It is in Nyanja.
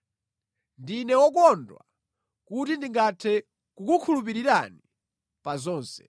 Ndine wokondwa kuti ndingathe kukukhulupirirani pa zonse.